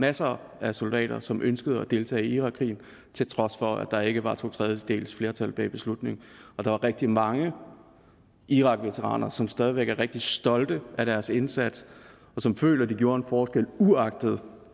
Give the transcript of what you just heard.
masser af soldater som ønskede at deltage i irakkrigen til trods for at der ikke var to tredjedeles flertal bag beslutningen og der er rigtig mange irakveteraner som stadig væk er rigtig stolte af deres indsats og som føler at de gjorde en forskel uagtet